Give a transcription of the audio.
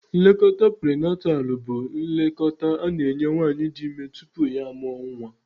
Nlekọta prinatalụ bụ nlekọta a na-enye nwaanyị di ime tupu ya amụọ nwa.